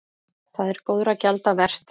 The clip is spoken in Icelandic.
Það er góðra gjalda vert.